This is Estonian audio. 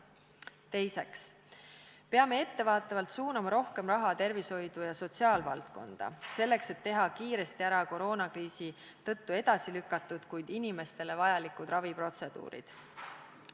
Teiseks, peame ettevaatavalt suunama rohkem raha tervishoidu ja sotsiaalvaldkonda, et teha kiiresti ära koroonakriisi tõttu edasi lükatud, kuid inimestele vajalikud raviprotseduurid.